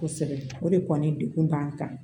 Kosɛbɛ o de kɔni degun b'an kan